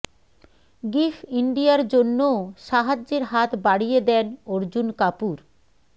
give ইন্ডিয়ার জন্যও সাহায্যের হাত বাড়িয়ে দেন অর্জুন কাপুর